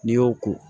N'i y'o ko